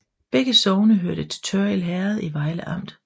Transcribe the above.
Begge sogne hørte til Tørrild Herred i Vejle Amt